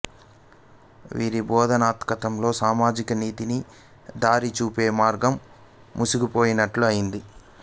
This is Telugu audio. వీరి బోధనాతర్కంలో సామాజిక నీతికి దారి చూపే మార్గం మూసుకుపోయినట్లయ్యింది